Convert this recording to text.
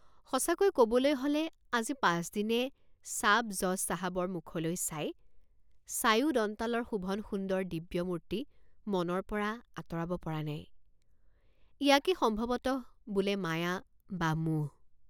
সঁচাকৈ কবলৈ হলে আজি পাঁচদিনে ছাবজজ চাহাবৰ মুখলৈ চাই চায়ো দন্তালৰ শোভন সুন্দৰ দিব্যমূৰ্তি মনৰপৰা আঁতৰাব পৰা নাই ইয়াকেই সম্ভৱতঃ বোলে মায়া বা মোহ।